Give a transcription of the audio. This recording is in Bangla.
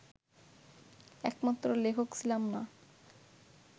একমাত্র লেখক ছিলাম না